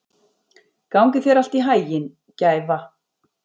Gangi þér allt í haginn, Gæfa.